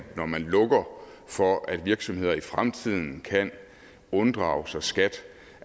når man lukker for at virksomheder i fremtiden kan unddrage sig skat